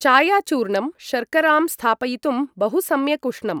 चायाचूर्णं शर्करां स्थापयितुं बहु सम्यक् उष्णं ।